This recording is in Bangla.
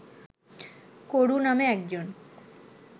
কুরু নামে একজন